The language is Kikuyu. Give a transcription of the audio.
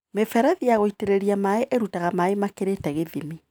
Mĩberethi ya gũitĩrĩria maĩ ĩrutaga maĩ makĩrĩte gĩthimi.